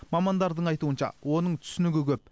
мамандардың айтуынша оның түсінігі көп